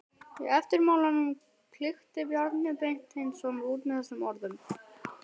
Í eftirmálanum klykkti Bjarni Beinteinsson út með þessum orðum